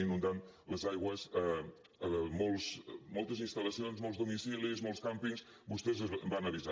inundant les aigües moltes instal·lacions molts domicilis molts càmpings vostès van avisar